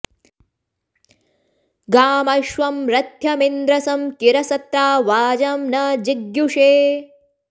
गामश्वं॑ र॒थ्य॑मिन्द्र॒ सं कि॑र स॒त्रा वाजं॒ न जि॒ग्युषे॑